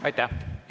Aitäh!